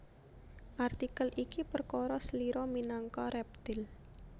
Artikel iki perkara slira minangka rèptil